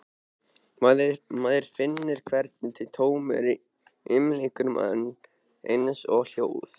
Maður finnur hvernig tómið umlykur mann, eins og hljóð.